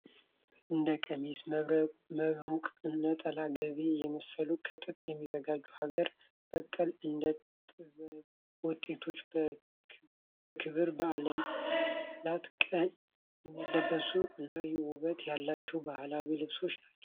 እንደ ቀሚስ፣ መብርቁ፣ ነጠላ፣ ጋቢ የመሳሰሉት ከጥጥ የሚዘጋጁ ሀገር በቀል የእደጥበብ ውጤቶች በክብረ በዓላት ቀን የሚለበሱ እና ውበት ያላቸው ባህላዊ ልብሶች ናቸው።